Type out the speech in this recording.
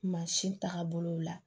Mansin tagabolo la